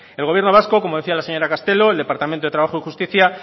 el gobierno vasco como decía la señora castelo el departamento de trabajo y justicia